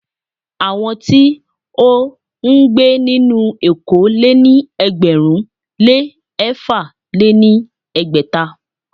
Àwọn tí ó ń gbé nínú éko lé ní ẹgbẹ̀rún lé ẹ̀fà lé ní ẹgbẹ́ta.